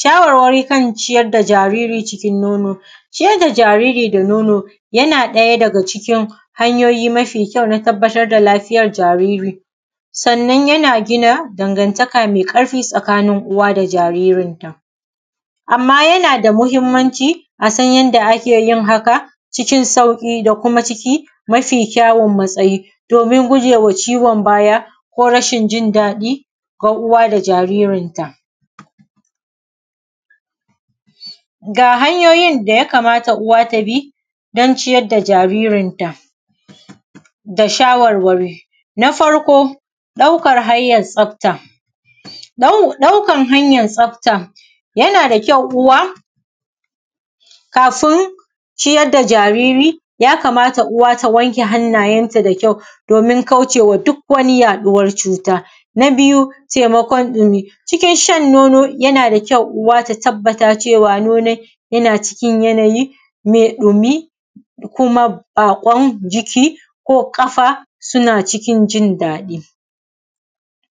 shawarwari kan ciyar da jaariri cikin nono. Ciyar da jaariri da nono yana ɗaya daga cikin hanyoyi mafi kyau na tabbatar da lafiyar jaariri, sannan yana gina dangaantaka mai ƙarɸi tsakanin uwa da jaaririnta, amma yana da muhimmanci a san yanda ake yin haka cikin sauƙi da kuma ciki mafi kyawun matsayi doomin gujewa ciwon baya ko rashin jin daɗi ga uwa da jaaririnta. Ga hanyoyin da ya kamata uwa ta bi don ciyar da jaaririnta da shawarwari, na farko, ɗaukar hanyan tsafta, ɗaukan hanyan tsafta yana da kyau uwa kafin ciyar da jaariri ya kamata uwa ta wanke hannaayenta da kyau doomin kaucewa duk wani yaɗuwar cuta. Na biyu taimakon ɗumi, cikin shan nono yana da kyau uwa ta tabbata da cewa nonon yana cikin yanayi mai ɗumi kuma baaƙon jiki ko ƙafa yana cikin jindaɗi.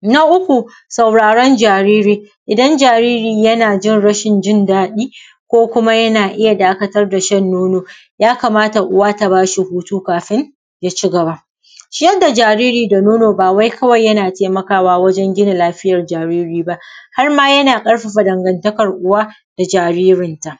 Na uku sauraron jaariri, idan jaariri yana cikin rashin jindaɗi ko kuma yana iya dakatar da shan nono, ya kamata uwa ta baa shi hutu kafin ya cigaba. Ciyar da jaariri da nono baa wai kawai yana taimakawa wajen gina lafiyar jaariri ba har maa yana ƙarfafa dangantakar uwa da jaaririnta